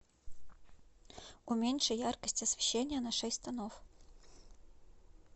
уменьши яркость освещения на шесть тонов